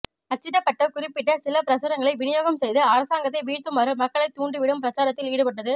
அச்சிடப்பட்ட குறிப்பிட்ட சில பிரசுரங்களை விநியோகம் செய்து அரசாங்கத்தை வீழ்த்துமாறு மக்களை தூண்டி விடும் பிரச்சாரத்தில் ஈடுபட்டது